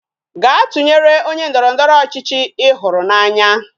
Gaa tụnyere onye ndọrọndọrọ ọchịchị Ị hụrụ n'anya